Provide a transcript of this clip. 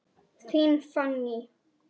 Þín Fanný.